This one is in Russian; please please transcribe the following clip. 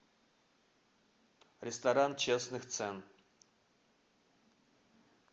ресторан честных цен